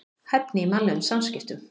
Hæfni í mannlegum samskiptum.